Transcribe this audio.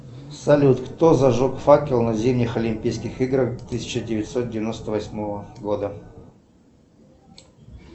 салют кто зажег факел на зимних олимпийских играх тысяча девятьсот девяносто восьмого года